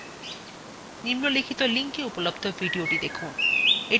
নিম্নলিখিত linkএ উপলব্ধ videothe দেখুন